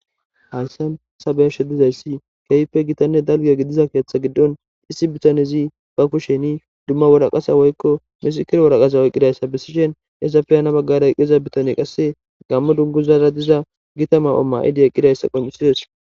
Haysan ta beyashe dizaysi kehippe gitane dalga gidida ketha gidon issi bitanezi ba kusheni duma waraqata woykon misikirineti waraqata oykidayisa besishin izappe hani bagara diza bitaney qase gamo dunguza diza gita afila mayifi eqidaysa qoncises